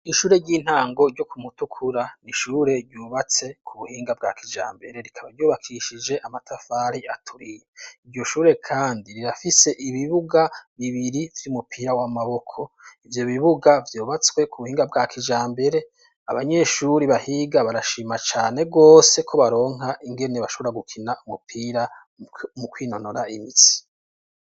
Ishure ry'intango ryo ku Mutukura, n'ishure ryubatse ku buhinga bwa kijambere rikaba ryubakishije amatafari aturiye, iryo shure kandi rirafise ibibuga bibiri vy'umupira w'amaboko, ivyo bibuga vyubatswe kubuhinga bwa kijambere abanyeshure bahiga barashima cane gose ko baronka ingene bashobora gukina umupira mu kwinonora imitsi.